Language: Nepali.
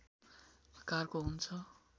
आकारको हुन्छ